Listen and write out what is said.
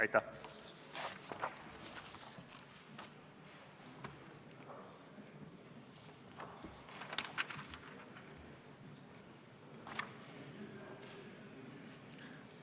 Aitäh!